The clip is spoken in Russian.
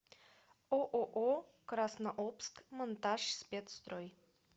ооо краснообск монтажспецстрой